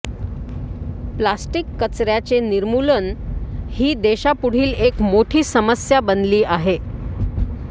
plastic कचर्याचे निर्मूलन ही देशापुढील एक मोठी समस्या बनली आहे